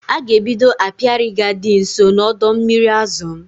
A ga-ebido apiary ga-adi nso na ọdọ mmiri azụ m